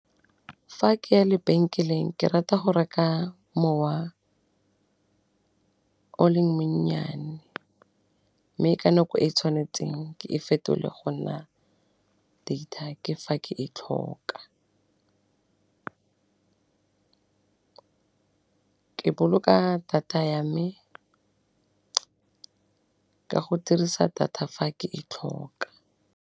Fa ke ya lebenkeleng ke rata go reka mowa o leng mo nnyane, mme ka nako e e tshwanetseng ke e fetole go nna data ke fa ke e tlhoka, ke boloka data ya me ka go dirisa data fa ke e tlhoka.